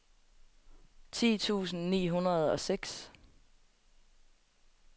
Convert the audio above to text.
ti tusind ni hundrede og seks